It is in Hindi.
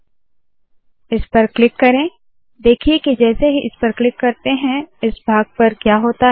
जैसे ही इसे मैं करती हूँ इस पर क्लिक करे देखिए के जैसे ही इस पर क्लिक करते है इस भाग पर क्या होता है